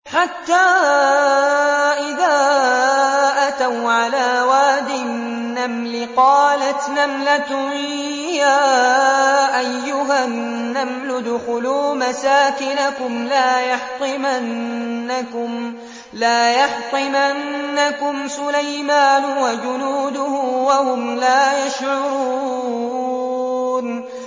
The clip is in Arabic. حَتَّىٰ إِذَا أَتَوْا عَلَىٰ وَادِ النَّمْلِ قَالَتْ نَمْلَةٌ يَا أَيُّهَا النَّمْلُ ادْخُلُوا مَسَاكِنَكُمْ لَا يَحْطِمَنَّكُمْ سُلَيْمَانُ وَجُنُودُهُ وَهُمْ لَا يَشْعُرُونَ